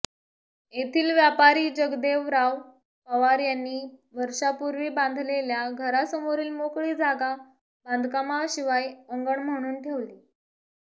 येथील व्यापारी जगदेवराव पवार यांनी वर्षापूर्वी बांधलेल्या घरासमोरील मोकळी जागा बांधकामाशिवाय अंगण म्हणून ठेवली